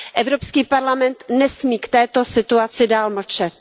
Evropský parlament nesmí k této situaci dál mlčet.